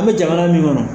An bɛ jamana min kɔnɔ